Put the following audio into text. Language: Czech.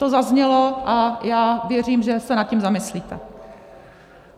To zaznělo a já věřím, že se nad tím zamyslíte.